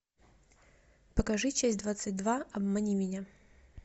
покажи часть двадцать два обмани меня